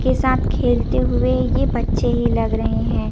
के साथ खेलते हुए ये बच्चे ही लग रहे हैं।